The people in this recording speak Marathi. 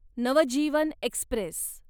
नवजीवन एक्स्प्रेस